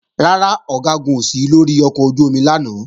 Rárá, Ọ̀gágun ò sí lórí ọkọ̀ ojú-omi lánàá